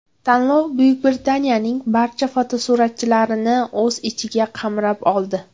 Tanlov Buyuk Britaniyaning barcha fotosuratchilarini o‘z ichiga qamrab oldi.